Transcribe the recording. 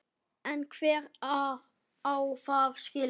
En hver á það skilið?